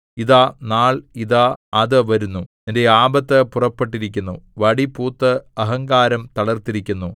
ഇതാ നാൾ ഇതാ അത് വരുന്നു നിന്റെ ആപത്ത് പുറപ്പെട്ടിരിക്കുന്നു വടി പൂത്ത് അഹങ്കാരം തളിർത്തിരിക്കുന്നു